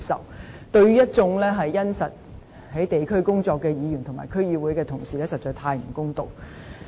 這對一眾殷實地在地區工作的議員和區議會的同事實在太不公道。